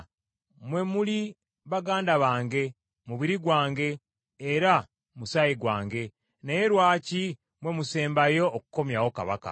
Mmwe muli baganda bange, mubiri gwange era musaayi gwange, naye lwaki mmwe musembayo okukomyawo kabaka?’